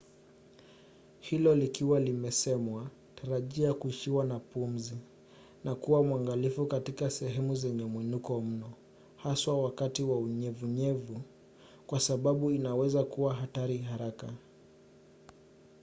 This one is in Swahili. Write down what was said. hilo likiwa limesemwa tarajia kuishiwa na pumzi na kuwa mwangalifu katika sehemu zenye mwinuko mno haswa wakati wa unyevunyevu kwa sababu inaweza kuwa hatari haraka